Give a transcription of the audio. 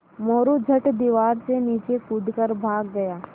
मोरू झट दीवार से नीचे कूद कर भाग गया